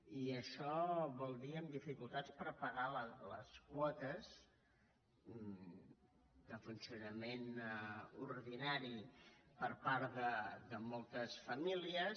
i això vol dir amb dificultats per pagar les quotes de funcionament ordinari per part de moltes famílies